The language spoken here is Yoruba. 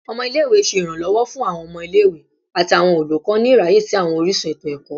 Ọmọ ile-ikawe ṣe iranlọwọ fun awọn ọmọ ile-iwe ati awọn olukọ ni iraye si awọn orisun eto-ẹkọ